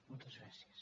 moltes gràcies